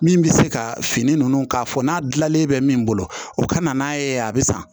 Min bɛ se ka fini ninnu k'a fɔ n'a dilanlen bɛ min bolo o ka na n'a ye a bɛ san